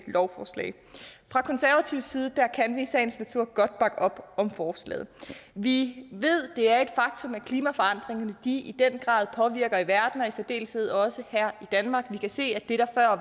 lovforslag fra konservativ side kan vi i sagens natur godt bakke op om forslaget vi ved det er et faktum at klimaforandringerne i den grad påvirker i verden og i særdeleshed også her i danmark vi kan se at det der